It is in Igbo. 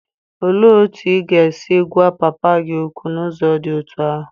Olee otú ị ga-esi gwa papa gị okwu n'ụzọ dị otú ahụ?